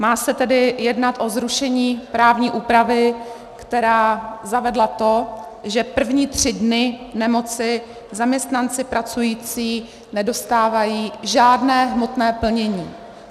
Má se tedy jednat o zrušení právní úpravy, která zavedla to, že první tři dny nemoci zaměstnanci pracující nedostávají žádné hmotné plnění.